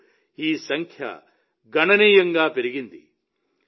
ఇప్పుడు ఈ సంఖ్య గణనీయంగా పెరిగింది